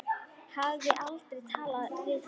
Hafði aldrei talað við hann.